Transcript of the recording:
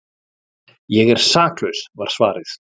Ég er saklaus var svarið.